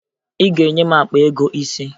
Ị ga-enye m akpa ego ise!